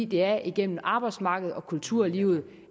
det er igennem arbejdsmarkedet og kulturlivet